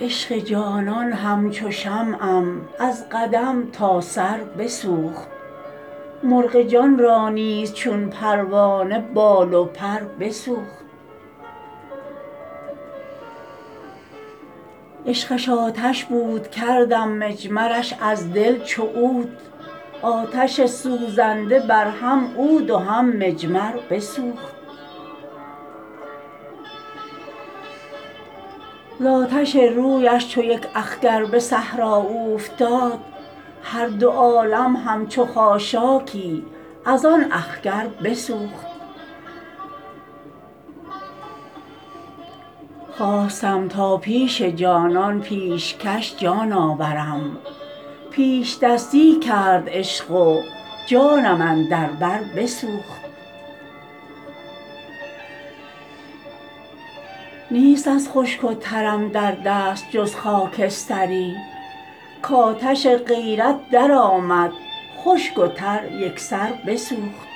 عشق جانان همچو شمعم از قدم تا سر بسوخت مرغ جان را نیز چون پروانه بال و پر بسوخت عشقش آتش بود کردم مجمرش از دل چو عود آتش سوزنده بر هم عود و هم مجمر بسوخت زآتش رویش چو یک اخگر به صحرا اوفتاد هر دو عالم همچو خاشاکی از آن اخگر بسوخت خواستم تا پیش جانان پیشکش جان آورم پیش دستی کرد عشق و جانم اندر بر بسوخت نیست از خشک و ترم در دست جز خاکستری کاتش غیرت درآمد خشک و تر یکسر بسوخت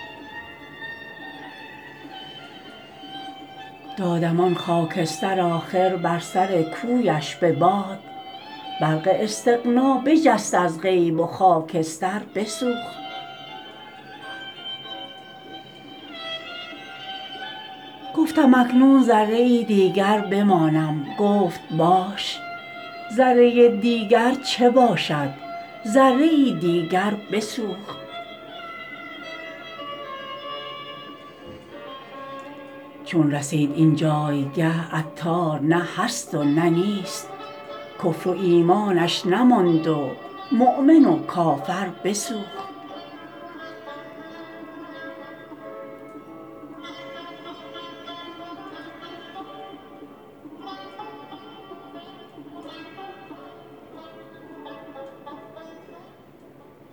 دادم آن خاکستر آخر بر سر کویش به باد برق استغنا بجست از غیب و خاکستر بسوخت گفتم اکنون ذره ای دیگر بمانم گفت باش ذره دیگر چه باشد ذره ای دیگر بسوخت چون رسید این جایگه عطار نه هست و نه نیست کفر و ایمانش نماند و مؤمن و کافر بسوخت